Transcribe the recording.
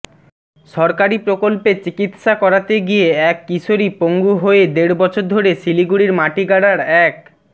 সরকারি প্রকল্পে চিকিৎসা করাতে গিয়ে এক কিশোরী পঙ্গু হয়ে দেড় বছর ধরে শিলিগুড়ির মাটিগাড়ার এক